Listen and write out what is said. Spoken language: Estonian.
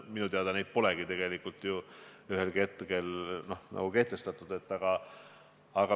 Minu teada seda polegi tegelikult ju kunagi kehtestatud.